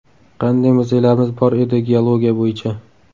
Qanday muzeylarimiz bor edi geologiya bo‘yicha.